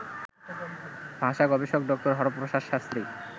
ভাষা গবেষক ড. হরপ্রসাদ শাস্ত্রী